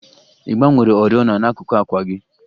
Ị gbanwere oriọna n'akuku àkwà gị?